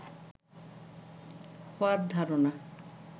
হওয়ার ধারণা